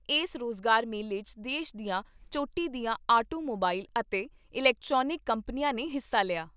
ਏਸ ਰੋਜ਼ਗਾਰ ਮੇਲੇ 'ਚ ਦੇਸ਼ ਦੀਆਂ ਚੋਟੀ ਦੀਆਂ ਆਟੋ ਮੋਬਾਈਲ ਅਤੇ ਇਲੈਕਟਰਾਨਿਕ ਕੰਪਨੀਆਂ ਨੇ ਹਿੱਸਾ ਲਿਆ।